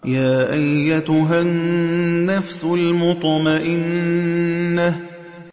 يَا أَيَّتُهَا النَّفْسُ الْمُطْمَئِنَّةُ